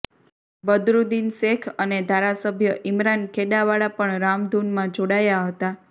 બદરૂદ્દીન શેખ અને ધારાસભ્ય ઈમરાન ખેડાવાળા પણ રામધૂનમાં જોડાયા હતાં